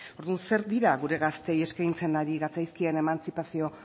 orduan zer dira gure gazteei eskaintzen ari gatzaizkien emantzipazio